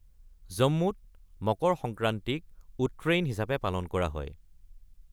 জম্মুত, মকৰ সংক্ৰান্তিক ‘উট্ৰেইন’ হিচাপে পালন কৰা হয়।